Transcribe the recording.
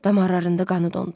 Damarlarında qanı dondu.